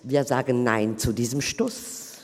Wir sagen Nein zu diesem Stuss.